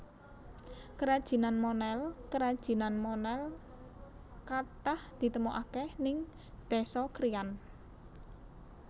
Kerajinan Monel kerajinan Monel katah ditemuake ning Desa Kriyan